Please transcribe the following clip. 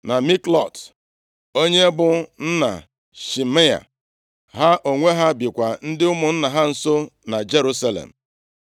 na Miklot, onye bụ nna Shimea. Ha onwe ha bikwa ndị ụmụnna ha nso na Jerusalem.